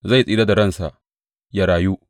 Zai tsira da ransa, ya rayu.’